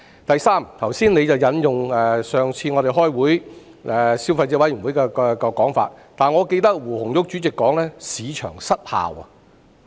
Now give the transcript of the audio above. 第三，局長剛才引用我們上一次開會時所提到的消委會分析，但我記得胡紅玉主席曾說"市場失效"。